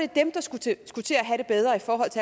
dem der skulle til